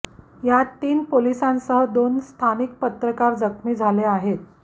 यात तीन पोलिसांसह दोन स्थानिक पत्रकार जखमी झाले आहेत